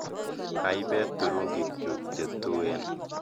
Aibe turungikchu chetuen